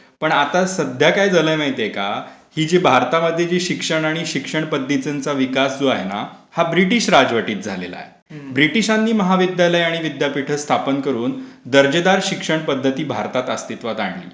पण आता सध्या काय झालंय माहितीये का? ही जी भारतामधली शिक्षण आणि शिक्षणपध्दतीचा विकास जो आहे ना हा ब्रिटिश राजवटीत झालेला आहे. ब्रिटीशांनी महाविद्यालय आणि विद्यापीठ स्थापन करून दर्जेदार शिक्षण पध्दती भारतात अस्तीत्वात आणली.